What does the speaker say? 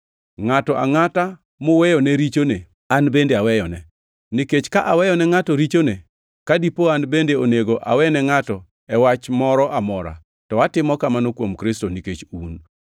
Ngʼato angʼata muweyone richone an bende aweyone. Nikech ka aweyone ngʼato richone; ka dipo an bende onego awene ngʼato e wach moro amora, to atimo kamano kuom Kristo, nikech un,